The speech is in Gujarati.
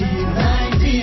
2